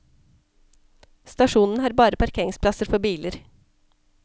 Stasjonen har bare parkeringsplasser for biler.